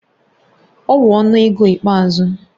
Ọ wu ọnụ ego ikpeazụ